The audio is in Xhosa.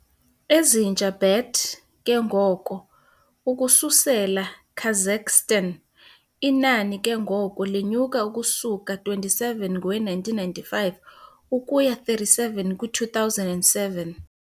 ezintsha bat ke ngoko ukususela Kazakhstan, inani ke ngoko lenyuka ukusuka 27 ngowe-1995 ukuya 37 kwi-2007.